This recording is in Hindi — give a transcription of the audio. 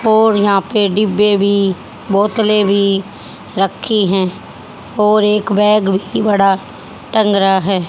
और यहां पे डिब्बे भी बोतलें भी रखी हैं और एक बैग भी बड़ा टंग रहा है।